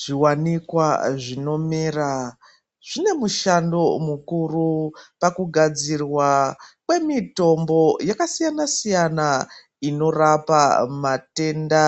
Zviwanikwa zvinomera, zvinemushando mukuru pakugadzirwa kwemitombo yakasiyana siyana, inorapa matenda.